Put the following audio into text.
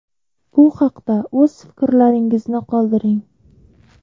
Bu haqda o‘z fikrlaringizni qoldiring.